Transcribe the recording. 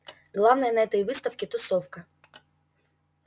главное на этой выставке тусовка